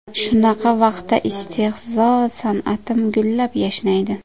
Shunaqa vaqtda istehzo san’atim gullab-yashnaydi.